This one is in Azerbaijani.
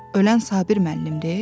ölən Sabir müəllimdir?